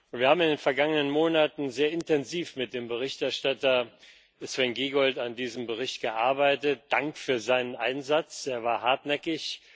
Wir haben in den vergangenen Monaten sehr intensiv mit dem Berichterstatter Sven Giegold an diesem Bericht gearbeitet Dank für seinen Einsatz, er war hartnäckig.